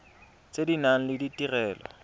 tse di nang le ditirelo